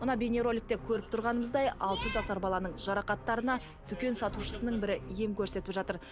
мына бейнероликте көріп тұрғанымыздай алты жасар баланың жарақаттарына дүкен сатушысың бірі ем көрсетіп жатыр